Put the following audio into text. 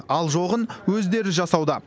ал жоғын өздері жасауда